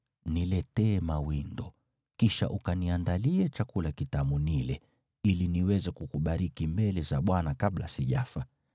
‘Niletee mawindo, kisha ukaniandalie chakula kitamu nile, ili niweze kukubariki mbele za Bwana kabla sijafa.’